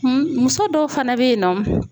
Muso dɔw fana bɛ yen nɔ